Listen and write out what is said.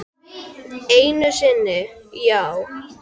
Einu sinni, já.